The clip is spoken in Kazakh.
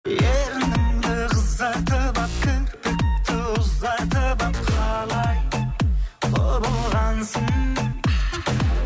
ерніңді қызартып алып кірпікті ұзартып алып қалай құбылғансың